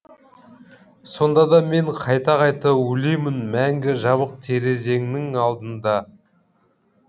сонда да мен қайта қайта өлемін мәңгі жабық терезеңнің алдында